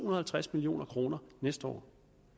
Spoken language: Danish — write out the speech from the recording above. og halvtreds million kroner næste år